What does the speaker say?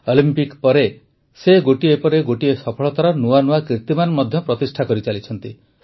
Olympic ପରେ ମଧ୍ୟ ସେ ଗୋଟିଏ ପରେ ଗୋଟିଏ ସଫଳତାର ନୂଆ ନୂଆ କିର୍ତୀମାନ ପ୍ରତିଷ୍ଠା କରିଚାଲିଛନ୍ତି